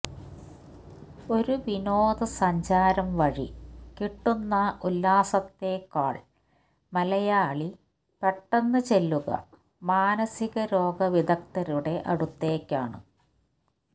ഒരു വിനോദ സഞ്ചാരം വഴി കിട്ടുന്ന ഉല്ലാസത്തേക്കാള് മലയാളി പെട്ടെന്ന് ചെല്ലുക മാനസിക രോഗ വിദഗ്ധരുടെ അടുത്തേക്കാണ്